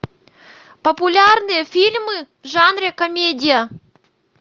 популярные фильмы в жанре комедия